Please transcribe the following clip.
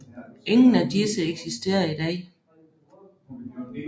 Ingen af disse eksisterer i dag